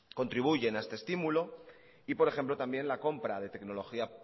contribuyen a este estímuloy por ejemplo también la compra de tecnología